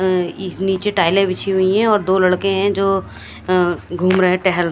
अह इस नीचे टाइलें बिछी हुई हैं और दो लड़के हैं जो अह घूम रहे टहल--